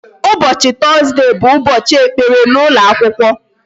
Ụbọchị Tọzdee bụ Ụbọchị ekpere n'ụlọ akwụkwọ